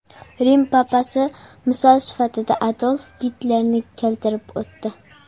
Rim papasi misol sifatida Adolf Gitlerni keltirib o‘tdi.